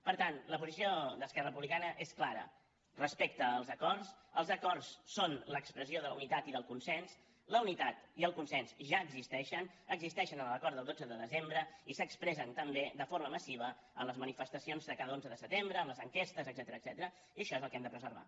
per tant la posició d’esquerra republicana és clara respecte als acords els acords són expressió de la unitat i del consens la unitat i el consens ja existeixen existeixen en l’acord del dotze de desembre i s’expressen també de forma massiva en les manifestacions de cada onze de setembre en les enquestes etcètera i això és el que hem de preservar